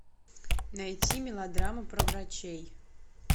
найти мелодраму про врачей